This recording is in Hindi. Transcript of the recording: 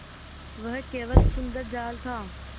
वह केवल सुंदर जाल था